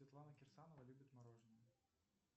светлана кирсанова любит мороженое